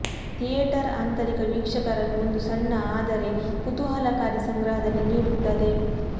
theatre ಆಂತರಿಕ ವೀಕ್ಷಕರನ್ನು ಒಂದು ಸಣ್ಣ ಆದರೆ ಕುತೂಹಲಕಾರಿ ಸಂಗ್ರಹದಲ್ಲಿ ನೀಡುತ್ತದೆ